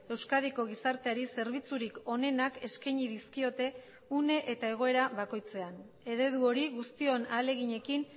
euskadiko gizarteari zerbitzurik onenak eskaini dizkiote une eta egoera bakoitzean eredu hori guztion ahaleginekin